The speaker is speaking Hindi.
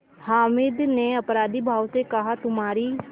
हामिद ने अपराधीभाव से कहातुम्हारी